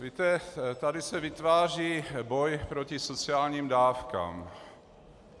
Víte, tady se vytváří boj proti sociálním dávkám.